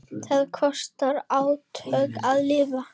Það kostar átök að lifa.